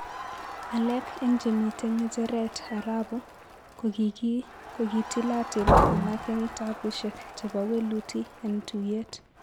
Alak eng chemiten gecheret arabu ko kitilatil alak eng tabushiek chepo weluti eng tuyet